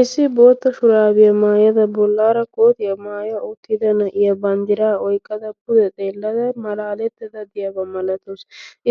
issi bootta shuraabiyaa maayada bollaara kootiyaa maaya uttida na'iya banddira oyqqada pude xeellada malaalettada diyaabaa malatoos